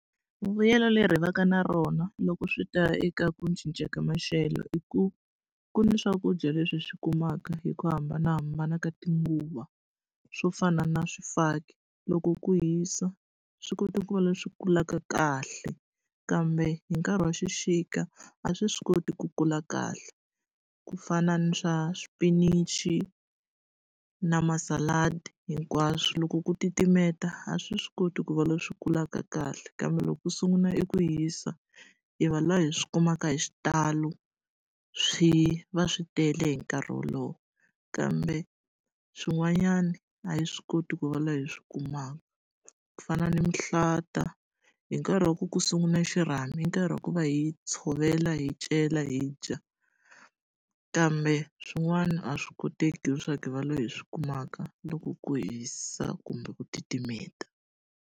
Vuyelo leri hi va ka na rona loko swi ta eka ku cinca ka maxelo i ku, ku ni swakudya leswi hi swi kumaka hi ku hambanahambana ka tinguva. Swo fana na swifaki, loko ku hisa swi koti ku va leswi kulaka kahle, kambe hi nkarhi wa xixika a swi swi koti ku kula kahle. Ku fana na swa swipinichi na masaladi, hinkwaswo loko ku titimela a swi swi koti ku va leswi kulaka kahle kambe loko ku sungula eku hisa, hi va lava hi swi kumaka hi xitalo swi va swi tele hi nkarhi wolowo. Kambe swin'wanyana a hi swi koti ku va laha hi swi kumaka. ku fana ni mihlata hi nkarhi wa ku ku sungula xirhami hi nkarhi wa ku va hi tshovela, hi cela, hi dya, kambe swin'wana a swi koteki leswaku hi va lava hi swi kumaka loko ku hisa kumbe ku titimela.